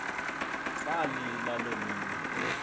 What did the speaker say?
salila loo mini